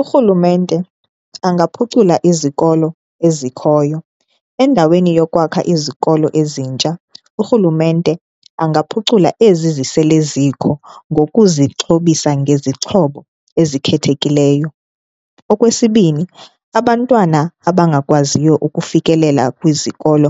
Urhulumente angaphucula izikolo ezikhoyo, endaweni yokwakha izikolo ezintsha urhulumente angaphucula ezi zisele zikho ngokuzixhobisa ngezixhobo ezikhethekileyo. Okwesibini, abantwana abangakwaziyo ukufikelela kwizikolo